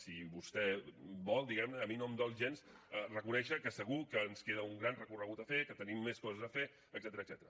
si vostè vol diguem ne a mi no em dol gens reconèixer que segur que ens queda un gran recorregut a fer que tenim més coses a fer etcètera